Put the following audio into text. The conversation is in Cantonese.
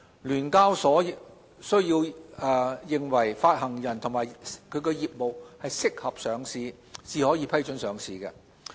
聯交所須認為發行人及其業務適合上市，才可批准上市。